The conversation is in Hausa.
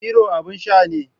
Hero abin sha ne